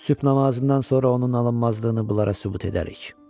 Sübh namazından sonra onun alınmazlığını bunlara sübut edərik.